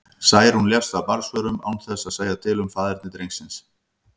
Særún lést af barnsförum, án þess að segja til um faðerni drengsins.